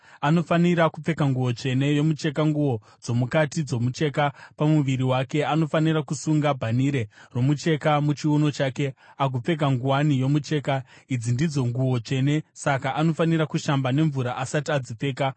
Anofanira kupfeka nguo tsvene yomucheka, nguo dzomukati dzomucheka pamuviri wake; anofanira kusunga bhanhire romucheka muchiuno chake agopfeka nguwani yomucheka. Idzi ndidzo nguo tsvene, saka anofanira kushamba nemvura asati adzipfeka.